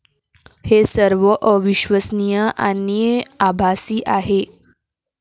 हे सर्व अविश्वसनीय आणि आभासी आहे.